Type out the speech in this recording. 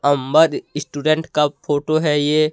अम्बर restaurant photo है ये।